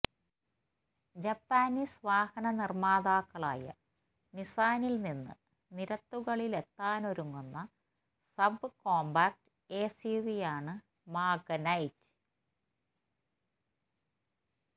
Japanese വാഹന നിര്മാതാക്കളായ നിസാനില് നിന്ന് നിരത്തുകളിലെത്താനൊരുങ്ങുന്ന സബ് കോംപാക്ട് എസ്യുവിയാണ് മാഗ്നൈറ്റ്